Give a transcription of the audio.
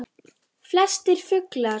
Flestir fuglar